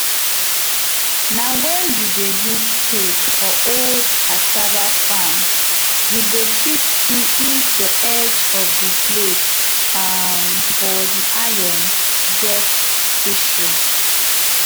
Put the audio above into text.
na wen you dey use spade for old cassava farm you go fit see if the edge of the blade um for the iron get issue